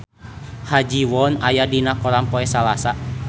Ha Ji Won aya dina koran poe Salasa